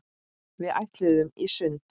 Við ætluðum í sund.